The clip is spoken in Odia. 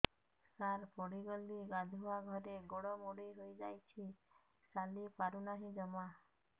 ସାର ପଡ଼ିଗଲି ଗାଧୁଆଘରେ ଗୋଡ ମୋଡି ହେଇଯାଇଛି ଚାଲିପାରୁ ନାହିଁ ଜମା